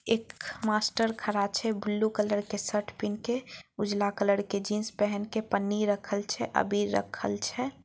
एक मास्टर खड़ा छै ब्लू कलर के शर्ट पहीन के उजला कलर के जिंस पहीन के पन्नी रखल छै अबीर रखल छै।